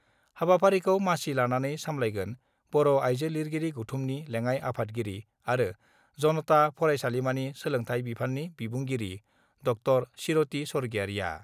हाबाफारिखौ मासि लानानै सामलायगोन बर' आइजो लिरगिरि गौथुमनि लेङाइ आफादगिरि आरो जनता फरायसालिमानि सोलोंथाइ बिफाननि बिबुंगिरि ड' चिरति स्वर्गियारिआ।